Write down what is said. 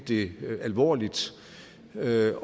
det alvorligt med